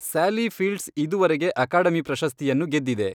Sally Fields ಇದುವರೆಗೆ academy ಪ್ರಶಸ್ತಿಯನ್ನು ಗೆದ್ದಿದೆ